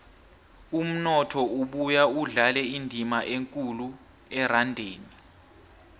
umnotho ubuya udlale indima ekulu erandeni